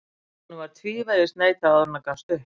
Honum var tvívegis neitað áður en hann gafst upp.